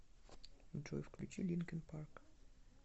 джой включи линкин парк